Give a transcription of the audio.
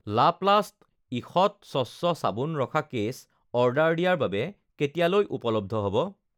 লাপ্লাষ্ট ঈষৎ স্বচ্ছ চাবোন ৰখা কেছ অৰ্ডাৰ দিয়াৰ বাবে কেতিয়ালৈ উপলব্ধ হ'ব?